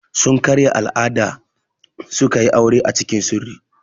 Sun karya al'ada suka yi aure acikin sirri.